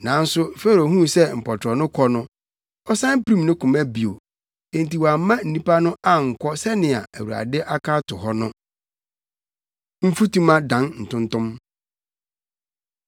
Nanso Farao huu sɛ mpɔtorɔ no kɔ no, ɔsan pirim ne koma bio enti wamma nnipa no ankɔ sɛnea Awurade aka ato hɔ no. Mfutuma Dan Ntontom